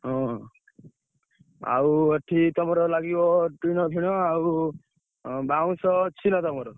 ହଁ ଆଉ ଏଠି ତମର ଲାଗିବ ଟିଣଫିଣ ଆଉ ଉଁ ବାଉଁଶ ଅଛି ନା ତମର?